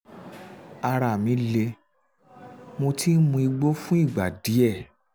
ara mi um le mo ti ń mu igbó fún ìgbà díẹ̀